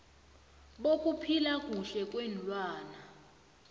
bokuphila kuhle kweenlwana